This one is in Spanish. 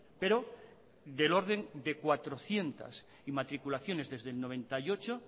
pero del orden de cuatrocientos inmatriculaciones desde el noventa y ocho